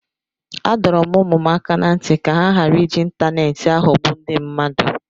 Adọrọ m ụmụ m aka ná ntị ka ha ghara iji ịntaneetị aghọgbu ndị mmadụ